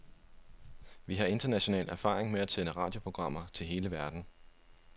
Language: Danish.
Vi har international erfaring med at sende radioprogrammer til hele verden.